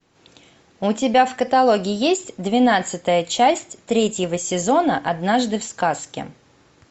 у тебя в каталоге есть двенадцатая часть третьего сезона однажды в сказке